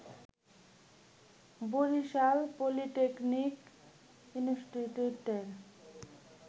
Barishal polytechnic ইনস্টিটিউটের